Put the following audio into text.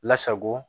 Lasago